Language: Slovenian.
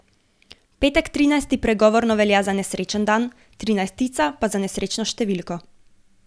Petek trinajsti pregovorno velja za nesrečen dan, trinajstica pa za nesrečno številko.